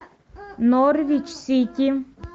норвич сити